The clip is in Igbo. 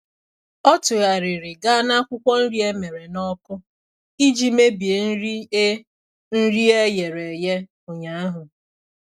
Ọ tụgharịrị gaa na akwụkwọ nri emere n'ọkụ iji mebie nri e nri e ghere eghe ụnyaahụ.